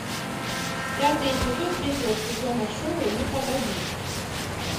пятый эпизод третьего сезона шоу ну погоди